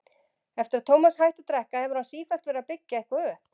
Eftir að Tómas hætti að drekka hefur hann sífellt verið að byggja eitthvað upp.